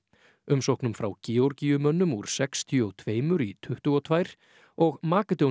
umsóknum frá úr sextíu og tvö í tuttugu og tvö og